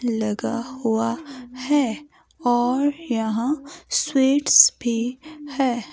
लगा हुआ है और यहां स्वीट्स भी है।